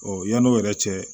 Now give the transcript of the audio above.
yann'o yɛrɛ cɛ